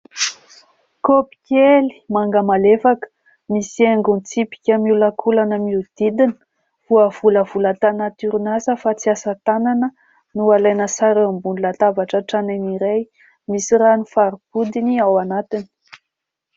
Kaopy kely manga malefaka, misy haingon-tsipika miolankolana manodidina. Voavolavola tany anaty orinasa fa tsy asa tanana no alaina sary eo ambony latabatra tranainy iray. Misy rano fara-bodiny ao anatiny.